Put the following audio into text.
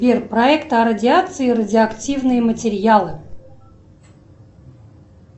сбер проект о радиации радиоактивные материалы